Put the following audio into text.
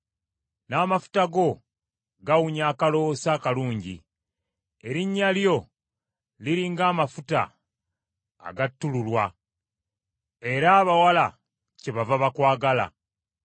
n’amafuta go gawunya akaloosa akalungi; erinnya lyo liri ng’amafuta agattululwa, era abawala kyebava bakwagala.